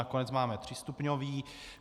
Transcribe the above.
Nakonec máme třístupňový.